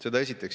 Seda esiteks.